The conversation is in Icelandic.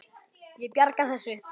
Ég bjarga þessu.